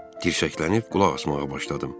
Dirşəklənib qulaq asmağa başladım.